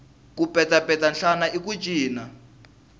ku petsapetsa nhlana i ku cina